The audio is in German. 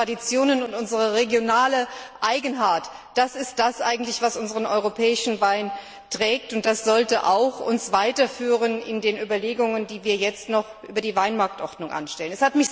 Unsere Traditionen und unsere regionale Eigenheit, das ist das, was unseren europäischen Wein trägt, und das sollte uns auch weiterführen in den Überlegungen, die wir jetzt über die Weinmarktordnung anstellen.